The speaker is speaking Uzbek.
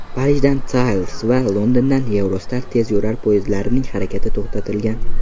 Parijdan Thalys va Londondan Eurostar tezyurar poyezdlarining harakati to‘xtatilgan.